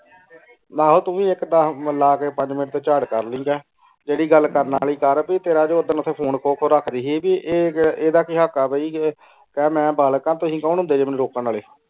ਏਹੋ ਤੂ ਏਇਕ ਪਾਸੋਂ ਲਾ ਕੇ ਪਾਜ ਨਾਸ ਤੇ ਚਾਰ ਕਰ ਲਿਏੰ ਜਰਾ ਜੇਰੀ ਗਲ ਕਰਨ ਵਾਲੀ ਕਰ ਤੇਰੀ ਜੋ ਓਦਾਂ ਓਥੇ ਫੋਨੇ ਖੋ ਖੋ ਰਖਦੀ ਸੀ ਆਯ ਏਡਾ ਤੇ ਹਕ਼ ਆ ਕਹ ਮੈਂ ਬਲਾਕ ਆਂ ਤੁਸੀਂ ਕੋੰ ਹੁੰਦੇ ਰੋਕਣ ਵਾਲੇ